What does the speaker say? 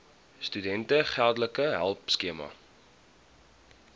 studente geldelike hulpskema